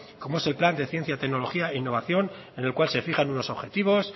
como es el en plan de ciencia tecnología e innovación en el cual se fijan unos objetivos